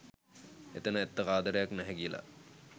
එතැන ඇත්ත ආදරයක් නැහැ කියලා.